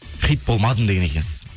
хит болмадым деген екенсіз